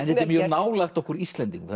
þetta er mjög nálægt okkur Íslendingum